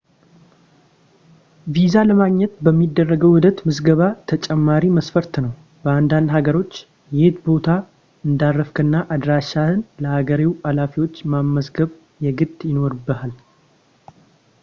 ቪዛ ለማግኘት በሚደረገው ሂደት ምዝገባ ተጨማሪ መስፈርት ነው በአንዳንድ ሀገሮች የት ቦታ እንዳረፍክና አድራሻህን ለሀገሬው ሀላፊዎች ማስመዝገብ የግድ ይኖርብሃል